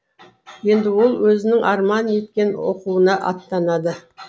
енді ол өзінің арман еткен оқуына аттанады